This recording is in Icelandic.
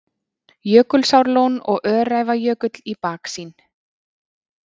Jökulsárlón og Öræfajökull í baksýn.